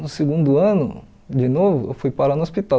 No segundo ano, de novo, eu fui parar no hospital.